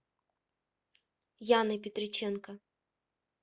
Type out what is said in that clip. яной петриченко